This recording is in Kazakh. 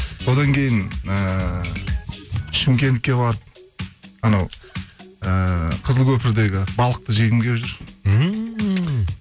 одан кейін ііі шымкентке барып анау ііі қызылкөпірдегі балықты жегім келіп жүр